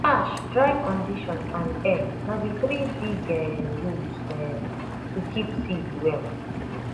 ash dry condition and air na the three big um rules um to keep seed well